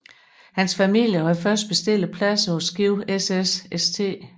Hans familie havde først bestilt pladser på skibet SS St